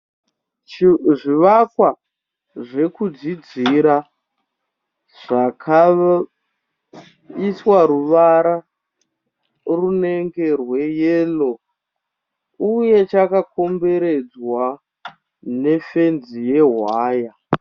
Zvivakwa zvekudzidzira zvakaiswa ruvara runenge rweyero uye chakakomberedzwa nefenzi yahwaya.